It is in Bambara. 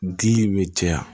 Dili bɛ caya